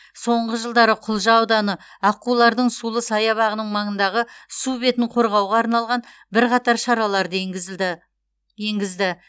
соңғы жылдары құлжа ауданы аққулардың сулы саябағының маңындағы су бетін қорғауға арналған бірқатар шараларды еңгізді